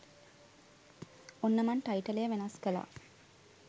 ඔන්න මං ටයිටලය වෙනස් කළා